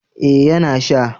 eh ya na sha